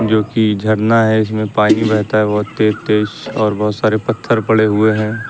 जो की झरना है इसमें पानी बेहता है बहोत तेज और बहोत सारे पत्थर पड़े हुए हैं।